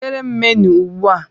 Wetere m menu ugbu a